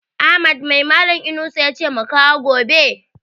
Ahmad mai malan Inusa yace mu kawo gobe?